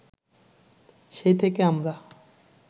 সেই থেকে আমরা